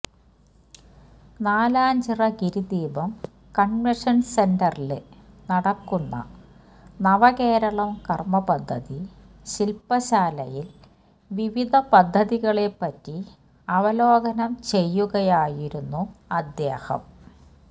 Nalanchira Girideepam convention സെന്ററില് നടക്കുന്ന നവകേരളം കര്മപദ്ധതി ശില്പശാലയില് വിവിധ പദ്ധതികളെപ്പറ്റി അവലോകനം ചെയ്യുകയായിരുന്നു അദ്ദേഹം